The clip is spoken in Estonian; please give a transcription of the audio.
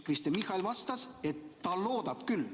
Kristen Michal vastab, et ta loodab küll.